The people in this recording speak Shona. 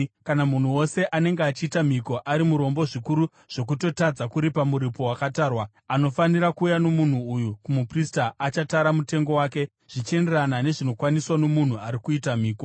Kana munhu wose anenge achiita mhiko ari murombo zvikuru zvokutotadza kuripa muripo wakatarwa, anofanira kuuya nomunhu uyu kumuprista, achatara mutengo wake zvichienderana nezvinokwaniswa nomunhu ari kuita mhiko.